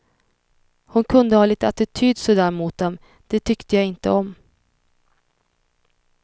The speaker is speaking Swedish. Hon kunde ha lite attityd så där mot dem, det tyckte jag inte om.